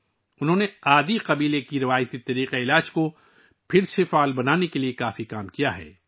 انھوں نے آدی قبیلے کے روایتی طبی نظام کو بحال کرنے کے لیے بہت کام کیا ہے